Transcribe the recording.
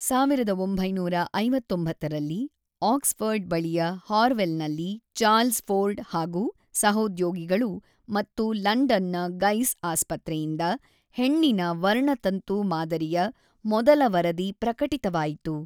೧೯೫೯ರಲ್ಲಿ Oxford ಬಳಿಯ ಹಾರ್ವೆಲ್‌ನಲ್ಲಿ Charles Ford ಹಾಗೂ ಸಹೋದ್ಯೋಗಿಗಳು ಮತ್ತು ಲಂಡನ್‌ನ ಗೈಸ್ ಆಸ್ಪತ್ರೆಯಿಂದ ಹೆಣ್ಣಿನ ವರ್ಣತಂತು ಮಾದರಿಯ ಮೊದಲ ವರದಿ ಪ್ರಕಟಿತವಾಯಿತು.